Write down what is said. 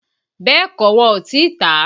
Bẹ́ẹ̀kọ́, wọn ò tí tàá